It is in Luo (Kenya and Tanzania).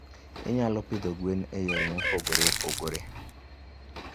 Inyalo pidho gwen e yore mopogore opogore.